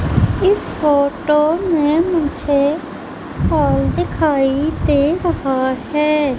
इस फोटो में मुझे हॉल दिखाई दे रहा हैं।